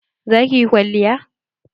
Za ki yi kwalliya?